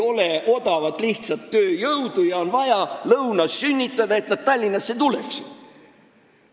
Meil ei ole odavat lihtsat tööjõudu ja selleks, et seda Tallinnasse tuleks, on vaja lõunas sünnitada.